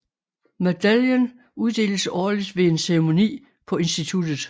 Medaljen uddeles årligt ved en ceremoni på institutet